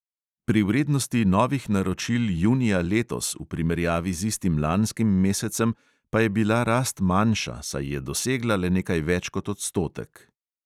Pri vrednosti novih naročil junija letos v primerjavi z istim lanskim mesecem pa je bila rast manjša, saj je dosegla le nekaj več kot odstotek.